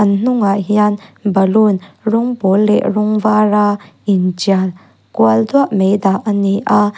an hnungah hian balloon rawng pawl leh rawng vara intial kual duah mai dah a ni a.